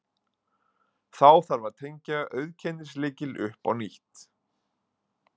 Þá þarf að tengja auðkennislykil upp á nýtt.